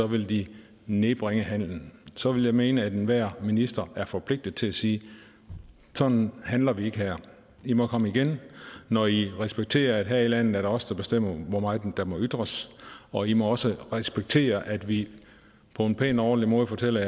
vil de nedbringe handelen så vil jeg mene at enhver minister er forpligtet til at sige sådan handler vi ikke her i må komme igen når i respekterer at her i landet er det os der bestemmer hvor meget der må ytres og i må også respektere at vi på en pæn og ordentlig måde fortæller